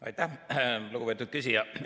Aitäh, lugupeetud küsija!